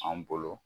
An bolo